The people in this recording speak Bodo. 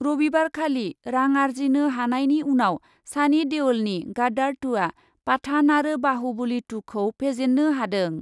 रबिबारखालि रां आरजिनो हानायनि उनाव सानि देअलनि गादार टु आ पाठान आरो बाहुबलि टु खौ फेजेन्नो हादों ।